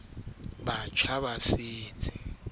le tlhoko ho fihlele o